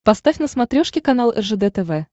поставь на смотрешке канал ржд тв